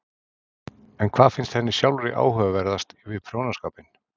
En hvað finnst henni sjálfri áhugaverðast við prjónaskapinn?